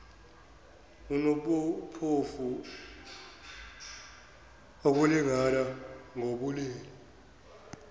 nobuphofu ukulingana ngobulili